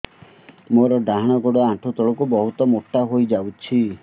ମୋର ଡାହାଣ ଗୋଡ଼ ଆଣ୍ଠୁ ତଳକୁ ବହୁତ ମୋଟା ହେଇଯାଉଛି